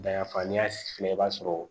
Dayanfan ni ya fila i b'a sɔrɔ